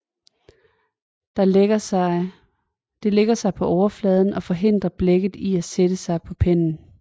Det lægger sig på overfladen og forhindrer blækket i at sætte sig på pennen